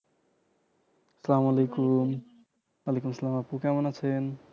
আসসালামু আলাইকুম ওয়ালাইকুম আসসালাম আপু কেমন আছেন?